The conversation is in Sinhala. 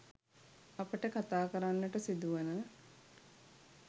අපට කථා කරන්නට සිදුවන